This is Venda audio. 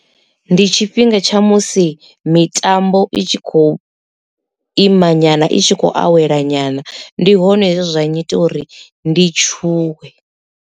Ndi tshifhinga tsha musi mitambo i tshi khou imanyana i tshi khou awela nyana ndi hone hezwi zwa ngita uri ndi tshuwe.